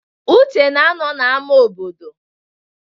Uche nọ na ámà obodo.